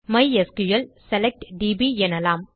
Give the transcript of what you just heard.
மைஸ்கிள் select DP எனலாம்